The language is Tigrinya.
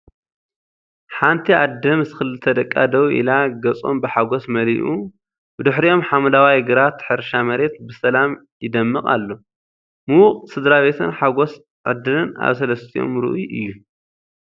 ሓንቲ ኣደ ምስ ክልተ ደቃ ደው ኢላ፡ ገጾም ብሓጎስ መሊኣ። ብድሕሪኦም ሓምለዋይ ግራት ሕርሻ መሬት ብሰላም ይደምቕ ኣሎ፤ ምዉቕ ስድራቤትን ሓጎስ ዕድልን ኣብ ሰለስቲኦም ርኡይ እዩ።